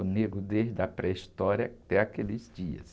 O negro desde a pré-história até aqueles dias.